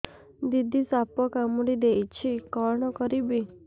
ଦିଦି ସାପ କାମୁଡି ଦେଇଛି କଣ କରିବି